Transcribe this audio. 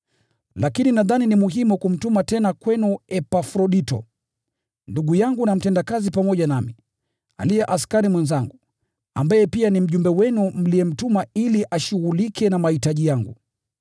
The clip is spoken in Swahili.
Lakini nadhani ni muhimu kumtuma tena kwenu Epafrodito, ndugu yangu na mtendakazi pamoja nami, aliye askari mwenzangu, ambaye pia ni mjumbe wenu mliyemtuma ili ashughulike na mahitaji yangu.